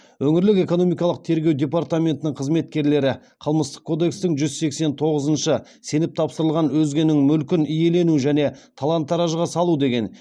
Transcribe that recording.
өңірлік экономикалық тергеу департаментінің қызметкерлері қылмыстық кодекстің жүз сексен тоғызыншы сеніп тапсырылған өзгенің мүлкін иелену және талан таражға салу деген